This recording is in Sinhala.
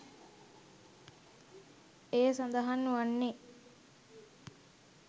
එය සඳහන් වන්නේ